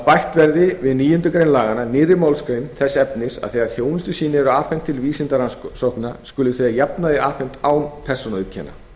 bætt verði við níundu grein laganna nýrri málsgrein þess efnis að þegar þjónustusýni eru afhent til vísindarannsókna skuli þau að jafnaði afhent án persónuauðkenna